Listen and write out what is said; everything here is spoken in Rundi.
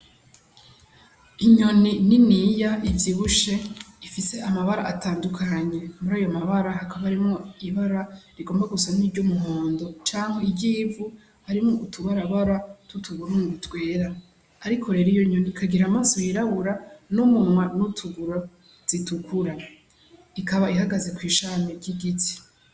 Inyoni niniya ivyibushe ifise amabara atandukanye murayo mabara hakaba harimwo ibara rigomba gusa n'iry'umuhondo cankwe iry'ivu harimwo utubarabara tw'utuburungu twera ariko rero iyonyoni ikagira amaso yirabura n'umunwa n'utuguru zitukura ikaba ihagaze kw'ishami ry'igiti.